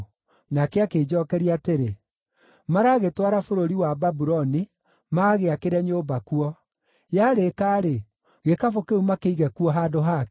Nake akĩnjookeria atĩrĩ, “Maragĩtwara bũrũri wa Babuloni magagĩakĩre nyũmba kuo. Yarĩka-rĩ, gĩkabũ kĩu makĩige kuo handũ hakĩo.”